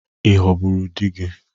Ị ghọgburu di gị?